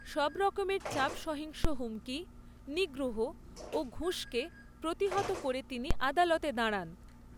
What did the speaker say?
সবরকমের চাপ সহিংস হুমকি, নিগ্রহ ও ঘুষকে প্রতিহত করে তিনি আদালতে দাঁড়ান।